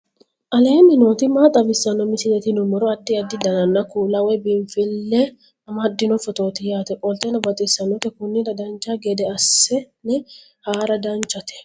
aleenni nooti maa xawisanno misileeti yinummoro addi addi dananna kuula woy biinsille amaddino footooti yaate qoltenno baxissannote konnira dancha gede assine haara danchate